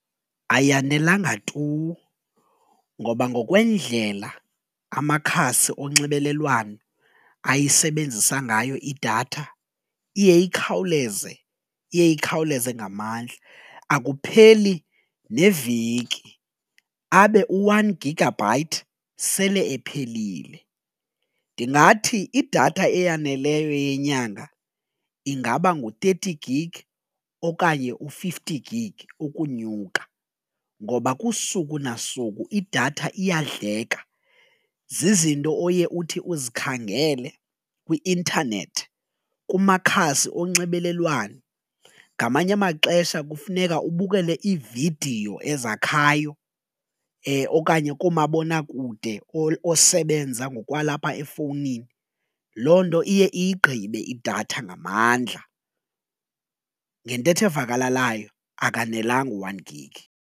Ayanelanga tu ngoba ngokwendlela amakhasi onxibelelwano ayisebenzisa ngayo idatha iye ikhawuleze, iye ikhawuleze ngamandla akupheli neveki abe u-one gigabyte sele ephelile. Ndingathi idatha eyaneleyo yenyanga ingaba ngu-thirty gig okanye u-fifty gig ukunyuka ngoba kusuku nasuku idatha iyadleka zizinto oye uthi uzikhangele kwi-intanethi, kumakhasi onxibelelwano ngamanye amaxesha kufuneka ubukele iividiyo ezakhayo okanye koomabonakude osebenza ngokwalapha efowunini loo nto iye iyigqibe idatha ngamandla ngentetho evakalalayo akanelanga u-one gig.